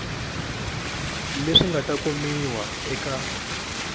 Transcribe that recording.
leswi nga ta kumiwa eka